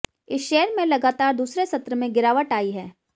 इस शेयर में लगातार दूसरे सत्र में गिरावट आई है